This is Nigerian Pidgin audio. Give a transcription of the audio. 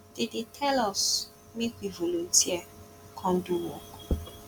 dey dey tell us make we volunteer come do work